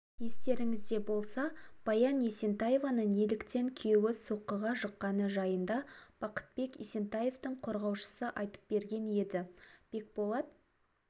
естеріңізде болса баян есентаеваны неліктен күйеуі соққыға жыққаны жайында бақытбек есентаевтың қорғаушысы айтып берген еді бекболат